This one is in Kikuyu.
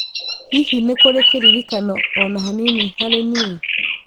Hihi nĩ kũrĩ kĩririkano o na hanini harĩ niĩ